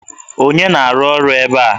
Onye na-arụ ọrụ ebe a?